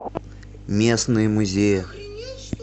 местные музеи